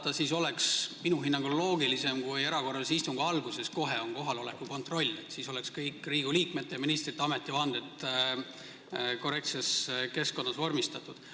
Ma arvan, et kui kodukorda üle vaadata, siis oleks minu hinnangul loogilisem, kui erakorralise istungi alguses kohe tehtaks kohaloleku kontroll, siis oleks kõik Riigikogu liikmete ja ministrite ametivanded korrektses keskkonnas vormistatud.